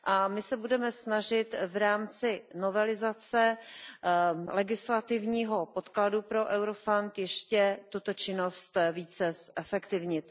My se budeme snažit v rámci novelizace legislativního podkladu pro Eurofound ještě tuto činnost více zefektivnit.